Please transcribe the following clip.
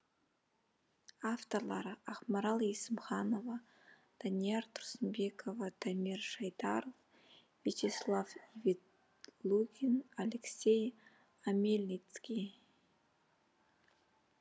авторлары ақмарал есімханова данияр тұрсынбекова дамир шайдаров вячеслав ветлугин алексей омельницкий